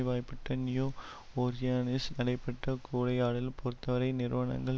வயப்பட்ட New Orleans நடைபெற்ற கூறையாடல் பெருத்தவரை நிறுவனங்கள்